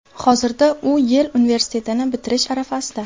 Hozirda u Yel universitetini bitirish arafasida.